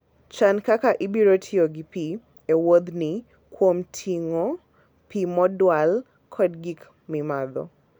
Chan kaka ibiro tiyo gi pi e wuodhni kuom ting'o pi modwal kod gik mimadho.